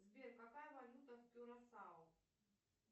сбер какая валюта в кюрасао